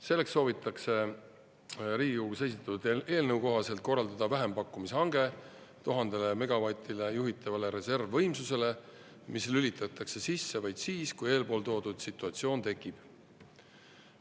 Selleks soovitakse Riigikogus esitatud eelnõu kohaselt korraldada vähempakkumise hange 1000 megavatile juhitavale reservvõimsusele, mis lülitatakse sisse vaid siis, kui eelpool toodud situatsioon tekib.